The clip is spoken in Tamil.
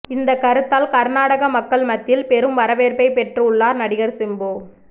இந்த கருத்தால் கர்நாடக மக்கள் மத்தியில் பெரும் வரவேற்பை பெற்று உள்ளார் நடிகர் சிம்பு